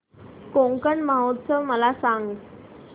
कोकण महोत्सव मला सांग